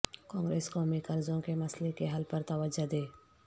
کانگریس قومی قرضوں کے مسئلے کے حل پر توجہ دے